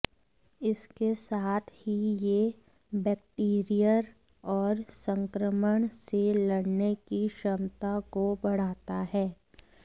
इसके साथ ही ये बैक्टीरियर और संक्रमण से लड़ने की क्षमता को बढ़ाता है